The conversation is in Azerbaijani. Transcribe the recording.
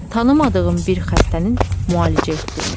Tanımadığım bir xəstənin müalicə etdirmək.